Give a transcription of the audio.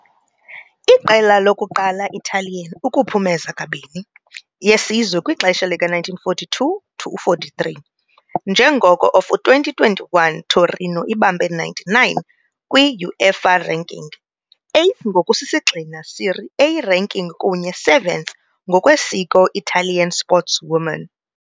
Iqela lokuqala Italian ukuphumeza "kabini" yesizwe kwixesha 1942-43, njengoko of 2021 Torino ibambe 99 indawo kwi UEFA ranking, 8th ngokusisigxina Serie A ranking kunye 7th ngokwesiko Italian sportswoman.